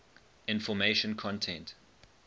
information content